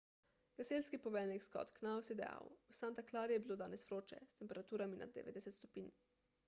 gasilski poveljnik scott knous je dejal v santa clari je bilo danes vroče s temperaturami nad 90 stopinj